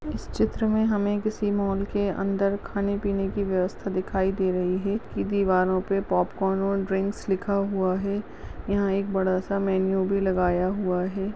इस चित्र मे हमे किसी मॉल के अंदर खाने पीने की व्यवस्था दिखाई दे रही है दीवारों पे पॉप्कॉर्न और ड्रिंक्स लिखा हुआ है यहाँ एक बड़ा सा मैन्यू भी लगाया हुआ है।